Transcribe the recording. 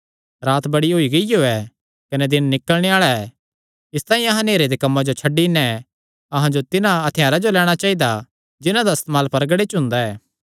रात बड़ी होई गियो ऐ कने दिन निकल़णे आल़ा ऐ इसतांई अहां नेहरे दे कम्मां जो छड्डी नैं अहां जो तिन्हां हत्थयारां जो लैणां चाइदा जिन्हां दा इस्तेमाल परगड़े च हुंदा ऐ